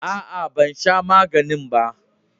Aa, ban sha maganin ba.